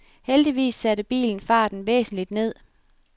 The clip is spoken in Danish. Heldigvis satte bilen farten væsentligt ned.